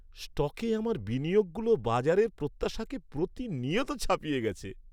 স্টকে আমার বিনিয়োগগুলো বাজারের প্রত্যাশাকে প্রতিনিয়ত ছাপিয়ে গেছে।